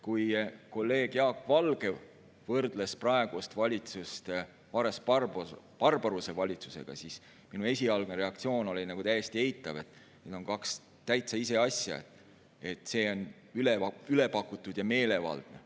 Kui kolleeg Jaak Valge võrdles praegust valitsust Vares-Barbaruse valitsusega, siis minu esialgne reaktsioon oli nagu täiesti eitav, sest need on kaks täitsa ise asja, algul mõtlesin, et see on ülepakutud ja meelevaldne.